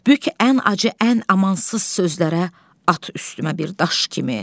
Bük ən acı, ən amansız sözlərə, at üstümə bir daş kimi.